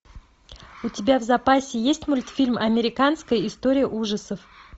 у тебя в запасе есть мультфильм американская история ужасов